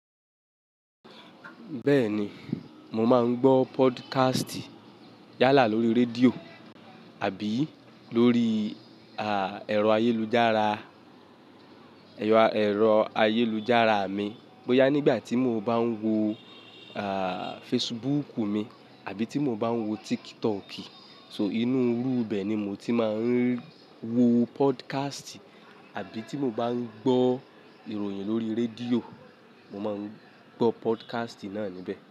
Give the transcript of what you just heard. Bẹ́ẹ̀ni, mo máa ń gbọ́ podcast yálà lórí rédíò àbí lórí, ah, ẹ̀rọ ayélujára, ẹ̀rọ ayélujára mi. Bóyá nígbà tí mo bá ń wo, ah, Facebook mi àbí tí mo bá ń wo TikTok, so inú rú bẹ́ẹ̀ ni mo ti máa ń wo podcast. Àbí tí mo bá ń gbọ́ ìròyìn lórí rédíò, mo máa ń gbọ́ podcast náà níbẹ̀